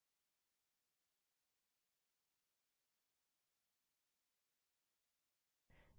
कुछ लोग वास्तव में इसे करते हैंएक वेरिएबल यूज़रनेम लिखते हैं alex